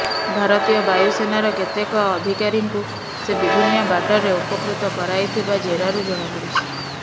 ଭାରତୀୟ ବାୟୁସେନାର କେତେକ ଅଧିକାରୀଙ୍କୁ ସେ ବିଭିନ୍ନ ବାଟରେ ଉପକୃତ କରାଇଥିବା ଜେରାରୁ ଜଣାପଡ଼ିଛି